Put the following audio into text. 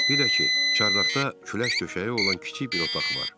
Bir də ki, çardaqda külək döşəyi olan kiçik bir otaq var.